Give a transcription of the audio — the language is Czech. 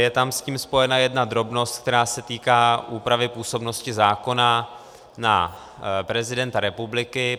Je tam s tím spojena jedna drobnost, která se týká úpravy působnosti zákona na prezidenta republiky.